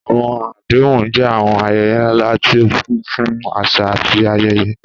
Àwọn àdéhùn jẹ́ àwọn ayẹyẹ ńlá tí ó kún fún àṣà àti ayẹyẹ.